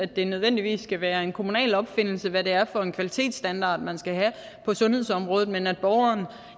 det nødvendigvis skal være en kommunal opfindelse hvad det er for en kvalitetsstandard man skal have på sundhedsområdet men at borgeren